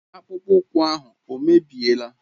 Akpụkpọ ụkwụ ahụ o mebiela?